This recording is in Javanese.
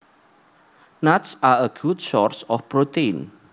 Nuts are a good source of protein